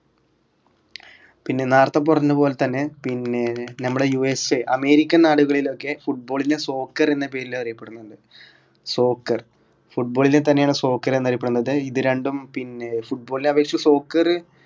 പിന്നെ നേറത്തെ പറഞ്ഞതുപോലെതന്നെ പിന്നെ നമ്മുടെ USAamerican നാടുകളിലൊക്കെ football നെ soccer എന്ന പേരിൽ എന്നറിയപ്പെടുന്നുണ്ട് soccerfootball നെ തന്നെയാണ് soccer എന്നറിയപ്പെടുന്നത് ഇത് രണ്ടും പിന്നെ football നെ അപേക്ഷിച്ച് soccer